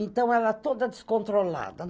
Então, ela toda descontrolada.